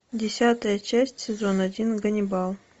десятая часть сезон один ганнибал